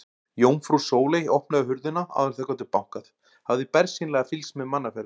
Jómfrú Sóley opnaði hurðina áður en þau gátu bankað, hafði bersýnilega fylgst með mannaferðum.